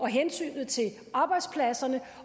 hensyn til arbejdspladserne